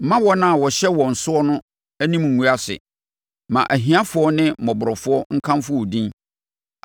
Mma wɔn a wɔahyɛ wɔn soɔ no anim nngu ase; ma ahiafoɔ ne mmɔborɔfoɔ nkamfo wo din.